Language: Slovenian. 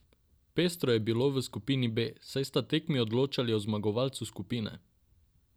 Pestro je bilo v skupini B, saj sta tekmi odločali o zmagovalcu skupine.